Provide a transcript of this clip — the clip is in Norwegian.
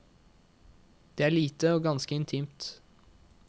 Det er lite og ganske intimt.